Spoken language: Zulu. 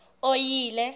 oyile